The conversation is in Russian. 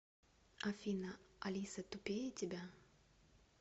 афина алиса тупее тебя